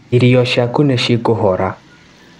Irio ciaku nĩ cikũhora